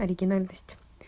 оригинальность